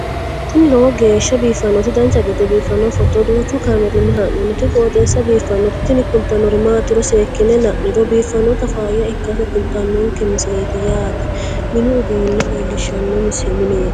tini lowo geeshsha biiffannoti dancha gede biiffanno footo danchu kaameerinni haa'noonniti qooxeessa biiffannoti tini kultannori maatiro seekkine la'niro biiffannota faayya ikkase kultannoke misileeti yaate mini uduunne leellishshanno mineeti